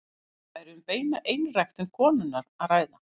Þá væri um beina einræktun konunnar að ræða.